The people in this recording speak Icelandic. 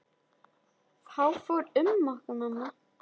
Þá fór um okkur.